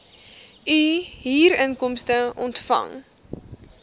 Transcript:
u huurinkomste ontvang